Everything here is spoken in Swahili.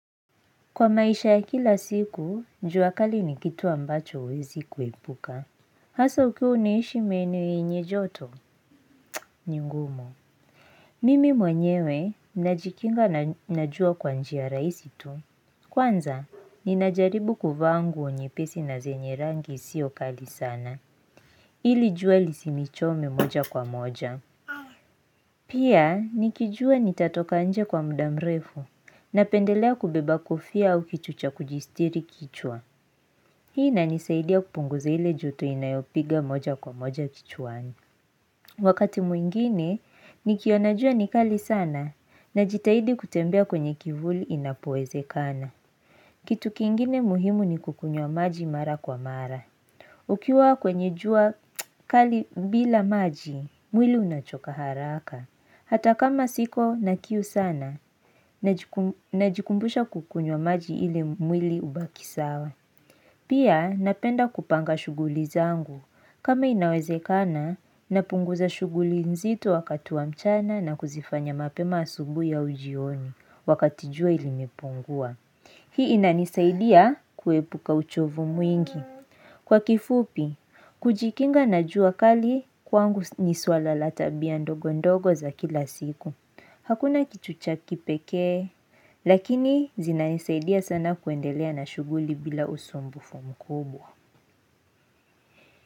Kwa maisha ya kila siku, jua kali ni kitu ambacho huwezi kuipuka. Hasa ukiwa unaishi eneo lenye joto, ni ngumu. Mimi mwenyewe, najikinga na jua kwa njia raisi tu. Kwanza, ninajaribu kuvaa nguo nyepesi na zenye rangi sio kali sana. Ili jua lisinichome moja kwa moja. Pia, nikijua nitatoka nje kwa mda mrefu. Napendelea kubeba kofia au kitu cha kujistiri kichwa. Hii inanisaidia kupunguza ile joto inayopiga moja kwa moja kichwani. Wakati mwingine, nikiona jua ni kali sana najitahidi kutembea kwenye kivuli inapoezekana. Kitu kingine muhimu ni kukunywa maji mara kwa mara. Ukiwa kwenye jua kali bila maji, mwili unachoka haraka. Hata kama siko na kiu sana najikumbusha kukunyuwa maji ili mwili ubaki sawa. Pia napenda kupanga shughuli zangu. Kama inawezekana, napunguza shughuli nzito wakati wa mchana na kuzifanya mapema asubuhi au jioni wakati jua limepungua. Hii inanisaidia kuepuka uchovu mwingi. Kwa kifupi, kujikinga na jua kali kwangu ni suala la tabia ndogo ndogo za kila siku. Hakuna kichucha kipekee, lakini zinanisaidia sana kuendelea na shughuli bila usumbufu mkubwa.